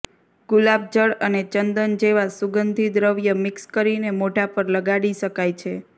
ગુલાબજળ અને ચંદન જેવાં સુગંધી દ્રવ્ય મિક્સ કરીને મોઢા પર લગાડી શકાય છે